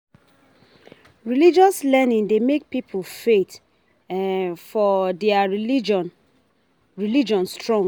Religious learning dey make pipo faith for their religion religion strong